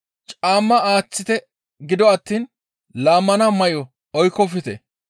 Caamma aaththite gido attiin laammana may7o oykkofte.